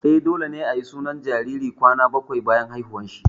Eh, dole ne ayi sunan jariri kwana bakwai bayan haihuwar shi